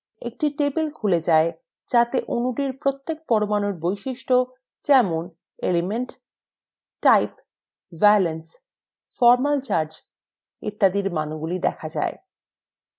একটি table খুলে যায় যাতে অণুটির প্রত্যেক পরমাণুর বৈশিষ্ট্য যেমন element type valence formal charge ইত্যাদির মানগুলি দেখায়